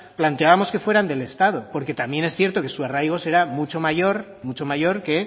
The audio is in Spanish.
planteábamos que fueran del estado porque también es cierto que su arraigo será mucho mayor que